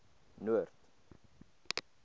noord